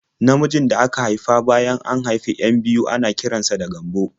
Namijin da aka haifa bayan an haifi 'yan biyu ana kiran sa da Gambo.